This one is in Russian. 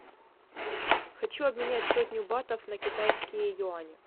хочу обменять сотню батов на китайские юани